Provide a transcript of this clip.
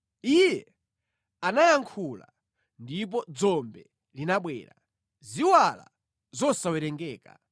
Iye anayankhula, ndipo dzombe linabwera, ziwala zosawerengeka;